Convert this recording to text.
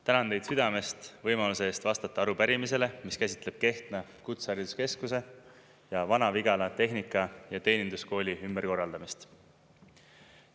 Tänan teid südamest võimaluse eest vastata arupärimisele, mis käsitleb Kehtna Kutsehariduskeskuse ja Vana-Vigala Tehnika- ja Teeninduskooli ümberkorraldamist.